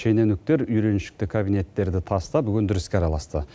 шенеуніктер үйреншікті кабинеттерді тастап өндіріске араласты